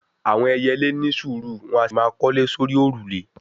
àwọn ẹyẹlé ni sùúrù, wọn a sì máa kọ́lé sórí òrùlé